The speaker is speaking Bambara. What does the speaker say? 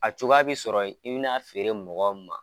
A cogoya bi sɔrɔ i bina feere mɔgɔ min ma